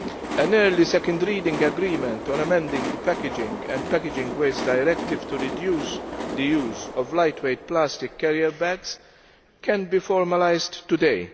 An early second reading agreement on amending the Packaging and Packaging Waste Directive to reduce the use of lightweight plastic carrier bags can be formalised today.